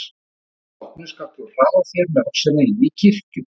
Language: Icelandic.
Að því loknu skalt þú hraða þér með öxina inn í kirkju.